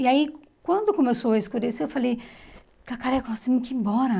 E aí, quando começou a escurecer, eu falei, Cacareco, nós temos que ir embora.